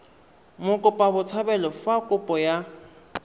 mokopa botshabelo fa kopo ya